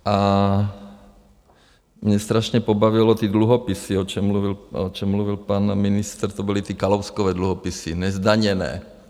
A mě strašně pobavily ty dluhopisy, o čem mluvil pan ministr, to byly ty Kalouskovy dluhopisy, nezdaněné.